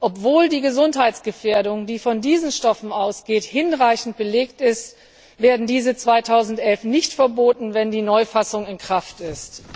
Obwohl die Gesundheitsgefährdung, die von diesen Stoffen ausgeht, hinreichend belegt ist, werden diese 2011 nicht verboten, wenn die Neufassung in Kraft ist.